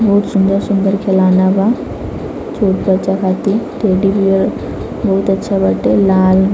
बहुत सुन्दर-सुन्दर खिलौना बा छोटा बच्चा खातिर टेडी -बियर बहुत अच्छा बाटे लाल--